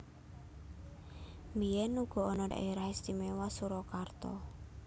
Biyèn uga ana Dhaérah Istiméwa Surakarta